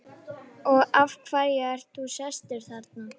Og af hverju ert þú sestur þarna?